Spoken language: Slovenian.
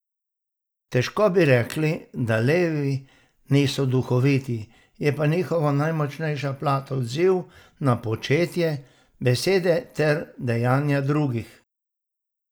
Težko bi rekli, da levi niso duhoviti, je pa njihova najmočnejša plat odziv na početje, besede ter dejanja drugih.